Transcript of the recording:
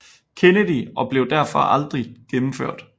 Kennedy og blev derfor aldrig gennemført